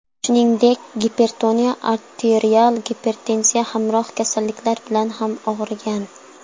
Shuningdek, gipertoniya, arterial gipertenziya hamroh kasalliklari bilan ham og‘rigan.